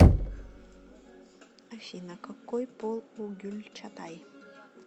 афина какой пол у гюльчатай